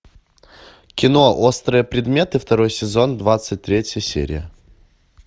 кино острые предметы второй сезон двадцать третья серия